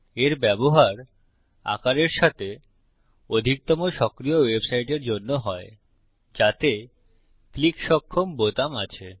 এর ব্যবহার আকারের সাথে অধিকতম সক্রিয় ওয়েবসাইটের জন্য হয় যাতে ক্লিক সক্ষম বোতাম আছে